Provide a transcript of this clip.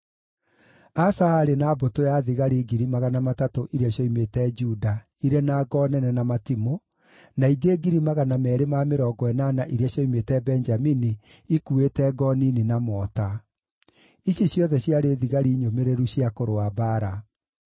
Asa aarĩ na mbũtũ ya thigari 300,000 iria cioimĩte Juda irĩ na ngo nene na matimũ, na ingĩ 280,000 iria cioimĩte Benjamini ikuuĩte ngo nini na mota. Ici ciothe ciarĩ thigari nyũmĩrĩru cia kũrũa mbaara.